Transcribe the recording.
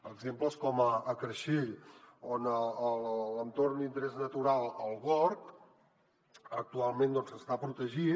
exemples com a creixell on l’entorn d’interès natural el gorg actualment està protegit